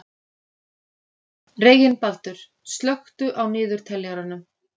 Reginbaldur, slökktu á niðurteljaranum.